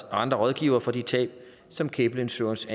andre rådgivere for de tab som gable insurance